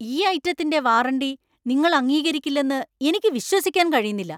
ഈ ഐറ്റത്തിന്‍റെ വാറണ്ടി നിങ്ങൾ അംഗീകരിക്കില്ലെന്ന് എനിക്ക് വിശ്വസിക്കാൻ കഴിയുന്നില്ല.